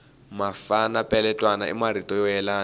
mafana peletwana i marito yo yelana